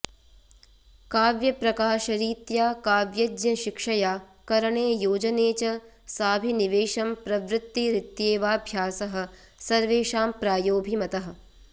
काव्यप्रकाशरीत्या काव्यज्ञशिक्षया करणे योजने च साभिनिवेशं प्रवृत्तिरित्येवाभ्यासः सर्वेषां प्रायो भिमतः